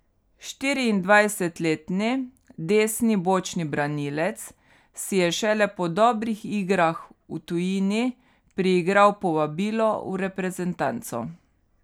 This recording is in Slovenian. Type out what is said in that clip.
Štiriindvajsetletni desni bočni branilec si je šele po dobrih igrah v tujini priigral povabilo v reprezentanco.